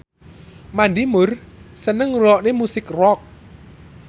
Mandy Moore seneng ngrungokne musik rock